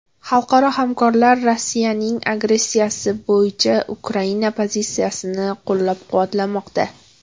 Xalqaro hamkorlar Rossiyaning agressiyasi bo‘yicha Ukraina pozitsiyasini qo‘llab-quvvatlamoqda.